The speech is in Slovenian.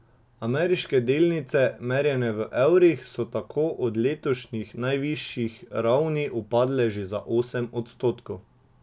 Ameriške delnice, merjene v evrih, so tako od letošnjih najvišjih ravni upadle že za osem odstotkov.